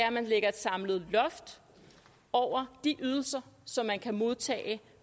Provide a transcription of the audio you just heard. at man lægger et samlet loft over de ydelser som man kan modtage